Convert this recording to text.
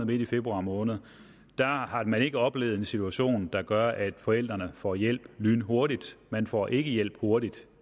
midt i februar måned har man ikke oplevet en situation der gør at forældrene får hjælp lynhurtigt man får ikke hjælp hurtigt